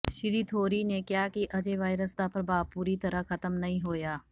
ਸ਼੍ਰੀ ਥੋਰੀ ਨੇ ਕਿਹਾ ਕਿ ਅਜੇ ਵਾਇਰਸ ਦਾ ਪ੍ਰਭਾਵ ਪੂਰੀ ਤਰ੍ਹਾਂ ਖ਼ਤਮ ਨਹੀਂ ਹੋਇਆ